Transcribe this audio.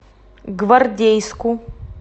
гвардейску